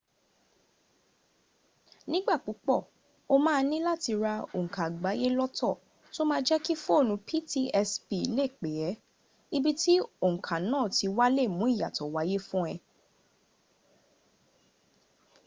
nígbà púpọ̀ o máa níláti ra ònkà àgbáyé lọ́tọ̀ tó ma jẹ́kí foonu ptsp lè pè ẹ́ ibi tí ònkà na ti wá lè mú iyato waye fún ẹ